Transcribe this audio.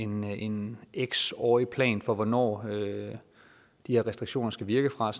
med en x årig plan for hvornår de her restriktioner skal virke fra